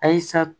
Ayisa